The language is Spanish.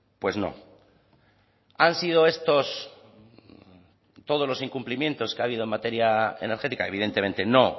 pues no han sido estos todos los incumplimientos que ha habido en materia energética evidentemente no